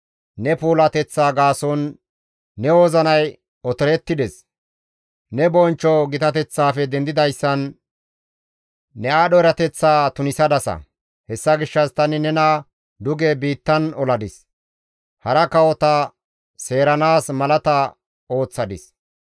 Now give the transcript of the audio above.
Ne puulateththaa gaason, ne wozinay otorettides; ne bonchcho gitateththaafe dendidayssan, ne aadho erateththaa tunisadasa; hessa gishshas tani nena duge biittan oladis; hara kawota seeranaas malata ooththadis.